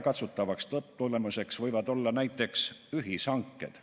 Otseseks lõpptulemuseks võivad olla näiteks ühishanked.